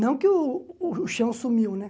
Não que o o o chão sumiu, né?